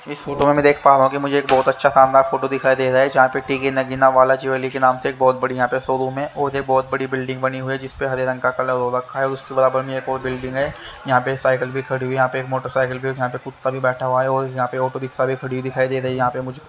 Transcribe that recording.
इस फोटो में देख पाओगे मुझे एक बहोत अच्छा शानदार फोटो दिखाई दे रहा है जहा पर तिकी नगीना वाला चोली के नाम से बहोत बड़ी यहाँ पे शोरूम है और ये बहोत बड़ी बिल्डिंग बनी हुई है जिस पर हरे रंग का कलर हो रखा है उसके बगल में एक और बिल्डिंग है यहाँ पर साइकिल भी खड़ी हुई है यहाँ पर मोटोकैक्ले भी यहाँ पर कुत्ता भी बैठा हुआ है और यहाँ पर ऑटो रिक्शा भी खड़ी दिखाई दे रही है यहाँ पर मुझ को--